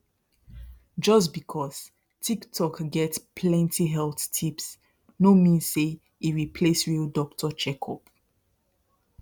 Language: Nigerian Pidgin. just because tiktok get plenty health tips no mean say e replace real doctor checkup